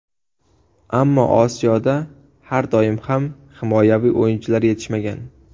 Ammo Osiyoda har doim ham himoyaviy o‘yinchilar yetishmagan.